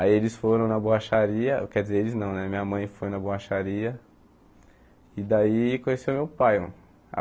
Aí eles foram na boacharia, quer dizer, eles não né, minha mãe foi na boacharia e daí conheceu meu pai.